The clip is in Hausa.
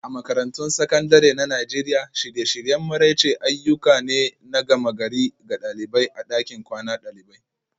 A Makarantun Sakandare na Najeriya, shirye-shiryen maraice ayyuka ne na gama-gari ga ɗalibai a ɗakin kwanan dalibai